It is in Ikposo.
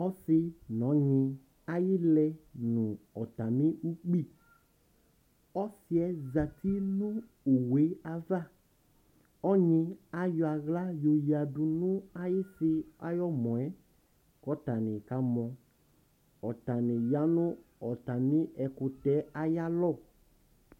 Ɔsι nʋ ɔnyι, ayι ιlɛ nʋ atamι ukpi Ɔsι yɛ zati nʋ owu yɛ ava, ɔnyι ayɔ aɣla yo ya dʋ nʋ ayιsι ayι ɔmɔ yɛ kʋ ɔtanι ka mɔ Ɔtanι ya nu ɔtamι ɛkʋtɛ yɛ ayι alɔ